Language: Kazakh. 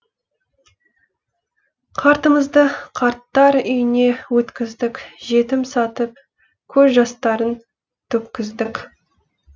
қартымызды қарттар үйіне өткіздік жетім сатып көз жастарын төккіздік